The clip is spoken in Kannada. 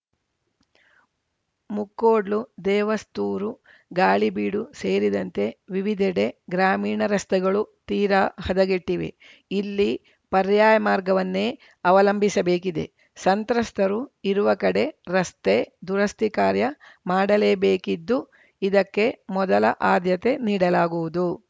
ಮುಕ್ಕೋಡ್ಲು ದೇವಸ್ತೂರು ಗಾಳಿಬೀಡು ಸೇರಿದಂತೆ ವಿವಿಧೆಡೆ ಗ್ರಾಮೀಣ ರಸ್ತೆಗಳು ತೀರಾ ಹದಗೆಟ್ಟಿವೆ ಇಲ್ಲಿ ಪರ್ಯಾಯ ಮಾರ್ಗವನ್ನೇ ಅವಲಂಬಿಸಬೇಕಿದೆ ಸಂತ್ರಸ್ತರು ಇರುವ ಕಡೆ ರಸ್ತೆ ದುರಸ್ತಿ ಕಾರ್ಯ ಮಾಡಲೇಬೇಕಿದ್ದು ಇದಕ್ಕೆ ಮೊದಲ ಆದ್ಯತೆ ನೀಡಲಾಗುವುದು